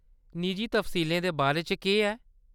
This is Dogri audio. निजी तफसीलें दे बारे च केह्‌‌ ऐ ?